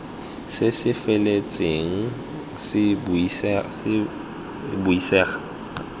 se se feletseng se buisega